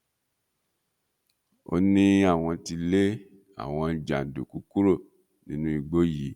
ó ní àwọn ti lé àwọn jàǹdùkú kúrò nínú igbó yìí